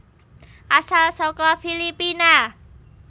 Asal saka Filipina